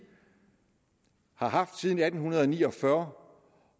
har haft siden atten ni og fyrre